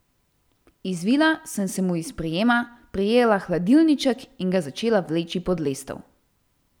Izvila sem se mu iz prijema, prijela hladilniček in ga začela vleči pod lestev.